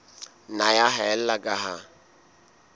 nna ya haella ka ha